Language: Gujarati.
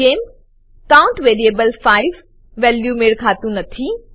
જેમ કાઉન્ટ વેરીએબલ 5 વેલ્યુને મેળ ખાતું નથી